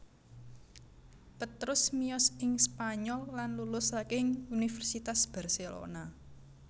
Petrus miyos ing Spanyol lan lulus saking Universitas Barcelona